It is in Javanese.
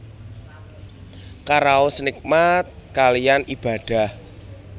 Karaos nikmat kaliyan Ibadah